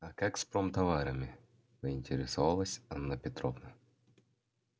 а как с промтоварами поинтересовалась анна петровна